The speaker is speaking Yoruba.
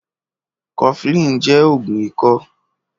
Kọ̀flin jẹ́ ógùn ikọ̀